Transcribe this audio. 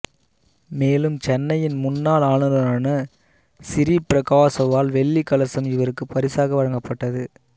மேலும் சென்னையின் முன்னாள் ஆளுநரான சிறீ பிரகாசாவால் வெள்ளி கலசம் இவருக்கு பரிசாக வழங்கப்பட்டது